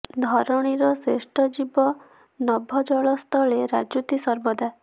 ଧରଣୀର ଶ୍ରେଷ୍ଠ ଜୀବ ନଭ ଜଳ ସ୍ଥଳେ ରାଜୁତି ସର୍ବଦା